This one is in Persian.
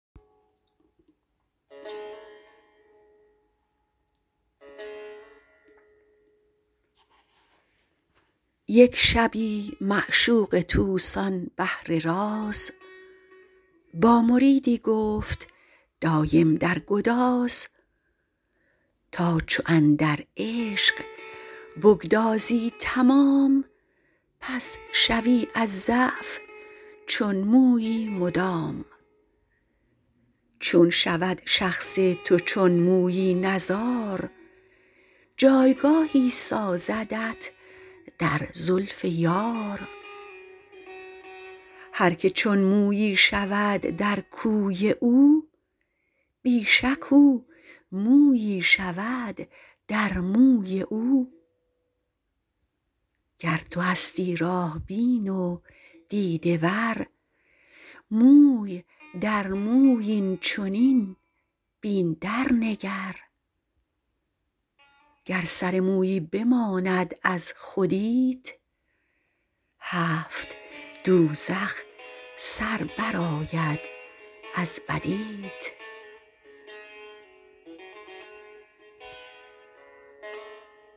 یک شبی معشوق طوس آن بحر راز با مریدی گفت دایم در گداز تا چو اندر عشق بگدازی تمام پس شوی از ضعف چون مویی مدام چون شود شخص تو چون مویی نزار جایگاهی سازدت در زلف یار هرک چون مویی شود در کوی او بی شک او مویی شود در موی او گر تو هستی راه بین و دیده ور موی در موی این چنین بین درنگر گر سر مویی بماند از خودیت هفت دوزخ سر برآید از بدیت